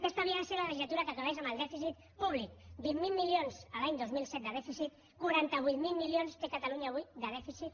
aquesta havia de ser la legislatura que acabés amb el dèficit públic veinte mil milions l’any dos mil siete de dèficit cuarenta ocho mil milions té catalunya avui de dèficit